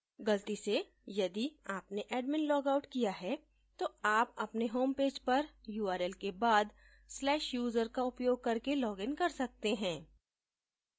गलती से यदि आपने admin loggedout किया है तो आप अपने homepage पर url के बाद/user का उपयोग करके login कर सकते हैं